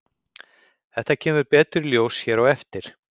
Þetta kemur betur í ljós hér á eftir.